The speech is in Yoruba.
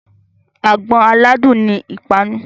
Àgbọn aládùn ni ìpanu.